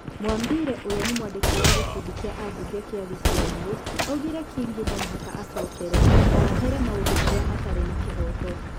Mwambire ũrĩa nĩ mwandĩki wa gĩkundi kĩa ambunge kĩa gĩcũa-inĩ, oigire Kingi no mũhaka acokere na where maũndu marĩa matarĩ na kĩhooto.